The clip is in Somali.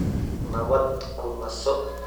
Nabad ku naso